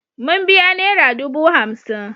Mun biya nera dubu hamsin.